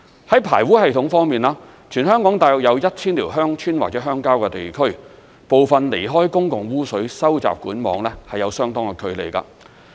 在排污系統方面，全香港大約有 1,000 條鄉村或鄉郊地區，部分離開公共污水收集管網有相當的距離。